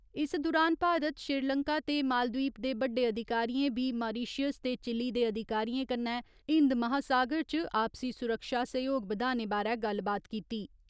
इस दुरान भारत श्रीलंका ते मालद्वीप दे बड़्डे अधिकारियें बी मारिशियस ते चिल्ली दे अधिकारियें कन्नै हिन्द महासागर च आपसी सुरक्षा सैह्‌योग बदाने बारै गल्लबात कीती।